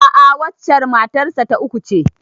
A'a, waccen matar sa ta uku ce.